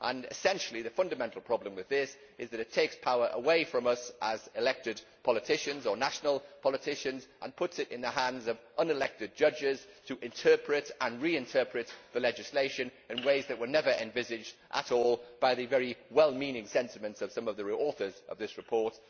Essentially, the fundamental problem with this is that it takes power away from us, as elected politicians or national politicians, and puts it in the hands of unelected judges to interpret and re interpret the legislation in ways that were never envisaged at all by the very well meaning sentiments of some of the authors of this report.